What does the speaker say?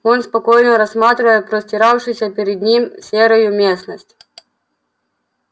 он спокойно рассматривал простиравшуюся перед ним серую местность